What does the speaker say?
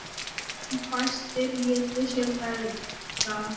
En fæstir létu sér bregða.